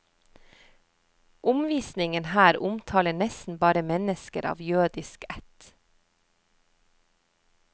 Omvisningen her omtaler nesten bare mennesker av jødisk ætt.